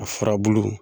A furabulu